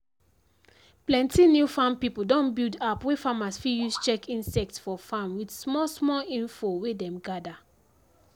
plenty new farm pipo don build app wey farmers fit use check insect for farm with small-small info wey dem gather